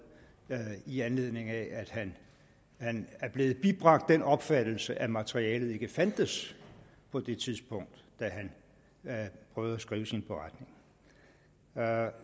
i anledning af at han han er blevet bibragt den opfattelse at materialet ikke fandtes på det tidspunkt da han prøvede at skrive sin beretning